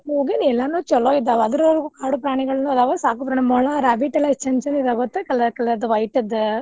ಎಲ್ಲಾನು ಚಲೋ ಇದ್ವಾ ಅದ್ರೊಲ್ಗು ಕಾಡುಪ್ರಾಣಿಗಳು ಅದಾವ ಸಾಕುಪ್ರಾಣಿ ಮೊಲ rabbit ಯೆಲ್ಲಎಷ್ಟ್ ಚಂದ್ ಚಂದ್ ಇದ ಗೊತ್ತ colour colour white ದ್.